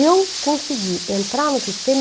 Eu consegui entrar no sistema.